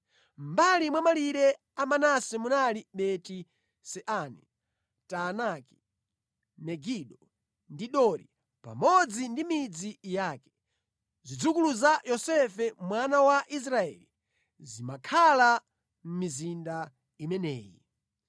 Mʼmbali mwa malire a Manase munali Beti-Seani, Taanaki, Megido ndi Dori, pamodzi ndi midzi yake. Zidzukulu za Yosefe mwana wa Israeli zimakhala mʼmizinda imeneyi.